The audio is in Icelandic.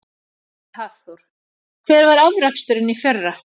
Hafþór: Hver var afraksturinn í fyrra?